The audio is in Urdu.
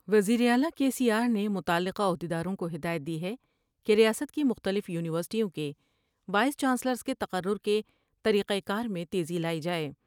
وزیراعلی کے سی آر نے متعلقہ عہد یداروں کو ہدایت دی ہے کہ ریاست کی مختلف یونیورسٹیوں کے وائس چانسلرس کے تقرر کے طریقہ کار میں تیزی لائی جاۓ ۔